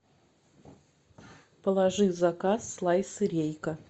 положи в заказ слайсы рейка